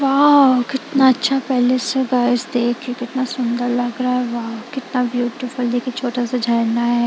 Wow कितना अच्छा palace है गाइस देखिए कितना सुंदर लग रहा है वाह कितना ब्यूटीफुल देखिए छोटा सा झरना है।